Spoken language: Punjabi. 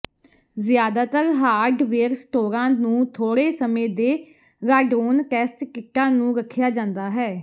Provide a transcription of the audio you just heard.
ਜ਼ਿਆਦਾਤਰ ਹਾਰਡਵੇਅਰ ਸਟੋਰਾਂ ਨੂੰ ਥੋੜ੍ਹੇ ਸਮੇਂ ਦੇ ਰਾਡੋਨ ਟੈਸਟ ਕਿੱਟਾਂ ਨੂੰ ਰੱਖਿਆ ਜਾਂਦਾ ਹੈ